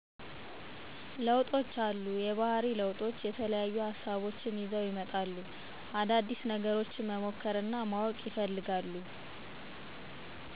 ለውጦች አሉ። የባህሪ ለውጦች የተለያዩ ሀሳቦች ይዘው ይመጣሉ። አዳዲስ ነገሮች መሞከር እናማወቅ ይፈልጋሉ።